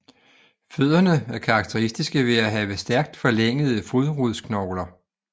Fødderne er karakteristiske ved at have stærkt forlængede fodrodsknogler